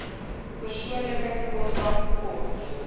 persoonlike kontak kort